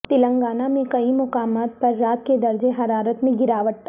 تلنگانہ میں کئی مقامات پر رات کے درجہ حرارت میں گراوٹ